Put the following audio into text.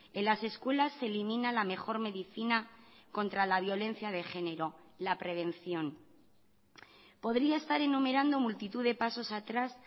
en las escuelas se elimina la mejor medicina contra la violencia de género la prevención podría estar enumerando multitud de pasos atrás